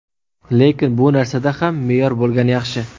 Lekin bu narsada ham me’yor bo‘lgani yaxshi.